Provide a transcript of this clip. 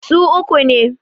su uku ne